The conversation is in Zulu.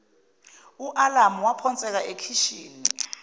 alamu waphonseka ekheshini